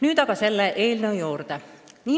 Nüüd aga eelnõu juurde.